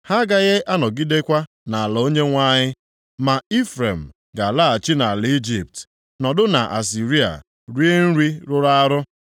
Ha agaghị anọgidekwa nʼala Onyenwe anyị, ma Ifrem ga-alaghachi nʼala Ijipt nọdụ nʼAsịrịa rie nri rụrụ arụ.